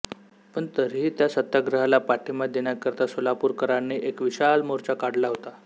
पण तरीही त्या सत्याग्रहाला पाठिंबा देण्याकरिता सोलापूरकरांनी एक विशाल मोर्चा काढला होता